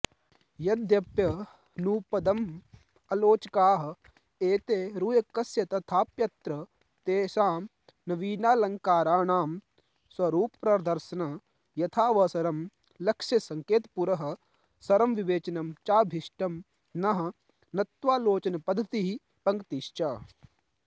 यद्यप्यनुपदमालोचकाः एते रुय्यकस्य तथाप्यत्र तेषां नवीनालङ्काराणां स्वरूपप्रदर्शन यथावसरं लक्ष्यसङ्केतपुरःसरं विवेचनं चाभीष्टं नः नत्वालोचनपद्धतिः पंक्तिश्च